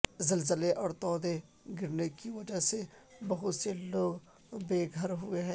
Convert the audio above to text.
زلزلے اور تودے گرنے کی وجہ سے بہت سے لوگ بے گھر ہوئے ہیں